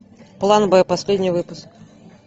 план б последний выпуск